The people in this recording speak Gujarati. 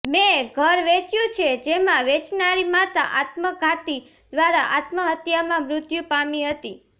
મેં ઘર વેચ્યું છે જેમાં વેચનારની માતા આત્મઘાતી દ્વારા આત્મહત્યામાં મૃત્યુ પામી હતી